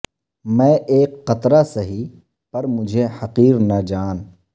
میں ایک قطرہ سہی پر مجھے حقیر نہ جان